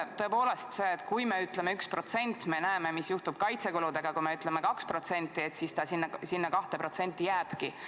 Tõepoolest, kui me ütleme 1%, siis me näeme, mis juhtub kaitsekuludega, kui me ütleme 2%, siis sinna 2% peale need jäävadki.